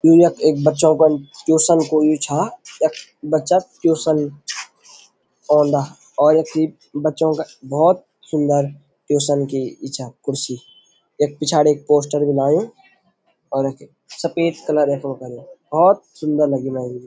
यु यख एक बच्चो कन ट्युसन कु यु छा यख बच्चा ट्युसन औंदा और यख ये बच्चों का भौत सुन्दर ट्युसन की इ छा कुर्सी यख पिछाड़ी एक पोस्टर भी लायुं और एके सफ़ेद कलरे यखमा करूँ भौत सुन्दर लगीं मैं यु।